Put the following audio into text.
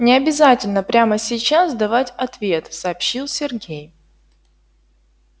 не обязательно прямо сейчас давать ответ сообщил сергей